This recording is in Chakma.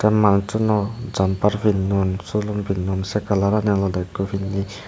manussuno jumper pinnon sulum pinnon say kalarani olodey ekkho pinnay.